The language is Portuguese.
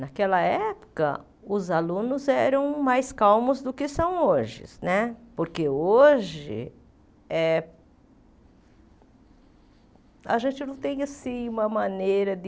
Naquela época, os alunos eram mais calmos do que são hoje né, porque hoje eh a gente não tem assim uma maneira de...